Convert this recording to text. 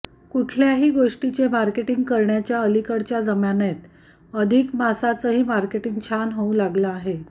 कुठल्याही गोष्टीचे मार्केटिंग करण्याच्या अलीकडच्या जमान्यात अधिक मासाचंही मार्केटिंग छान होऊ लागलं आहे